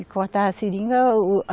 E cortava a seringa o.